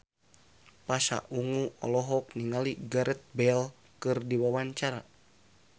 Pasha Ungu olohok ningali Gareth Bale keur diwawancara